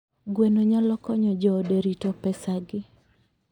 Gweno nyalo konyo joode rito pesagi.